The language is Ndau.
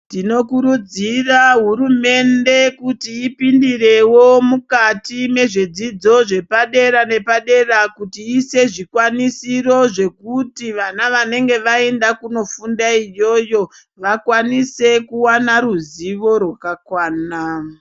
Tinokurudzira hurumende kuti ipindirevo mukati mezvidzidzo zvepadera nepadera. Kuti iise zvikwanisiro zvekuti vana vanenge vaenda kunofunda iyoyo vakwanise kuvana ruzivo rwakakwana.